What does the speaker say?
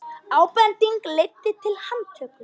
Ábending leiddi til handtöku